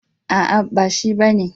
A'a, ba shi ba ne.